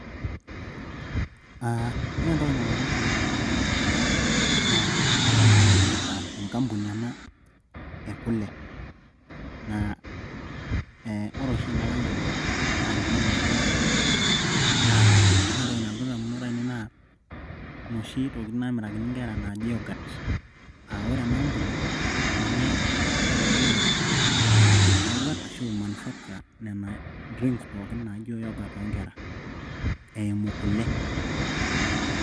Aaah ore entoki nalotu in`damunot ainaei tenadol, aah kadol nanu ajo enkampuni ena e kule. Naa eeh ore ena kampuni naa ninye emirakini kule naa ore entoki nalotu in`damunot ainei naa noshi tokitin naamirakini nkera naaji yorghurt. Aaah ore ena kampuni ninye naitobiru nena yorgurt ashu i manufacture nena drinks pookin oo nkera eimu kule oo nkishu.